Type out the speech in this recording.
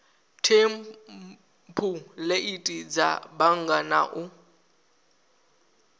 thempuleithi dza bannga na u